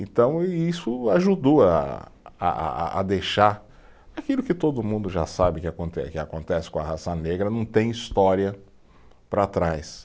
Então e isso ajudou a a a a, a deixar aquilo que todo mundo já sabe que aconte, que acontece com a raça negra, não tem história para trás.